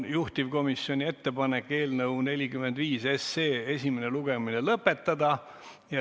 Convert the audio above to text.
Juhtivkomisjoni ettepanek on eelnõu 45 esimene lugemine lõpetada.